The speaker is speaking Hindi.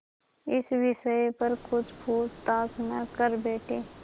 इस विषय पर कुछ पूछताछ न कर बैठें